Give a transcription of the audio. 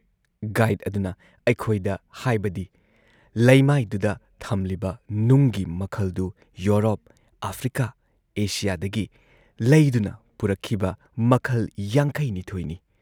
Guide ꯑꯗꯨꯅ ꯑꯩꯈꯣꯏꯗ ꯍꯥꯏꯕꯗꯤ ꯂꯩꯃꯥꯏꯗꯨꯗ ꯊꯝꯂꯤꯕ ꯅꯨꯡꯒꯤ ꯃꯈꯜꯗꯨ ꯌꯨꯔꯣꯞ, ꯑꯥꯐ꯭ꯔꯤꯀꯥ, ꯑꯦꯁꯤꯌꯥꯗꯒꯤ ꯂꯩꯗꯨꯅ ꯄꯨꯔꯛꯈꯤꯕ ꯃꯈꯜ ꯵꯲ ꯅꯤ ꯫